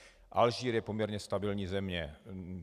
Alžírsko je poměrně stabilní země.